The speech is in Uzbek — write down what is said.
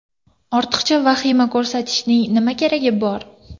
Ortiqcha vahima ko‘tarishning nima keragi bor?!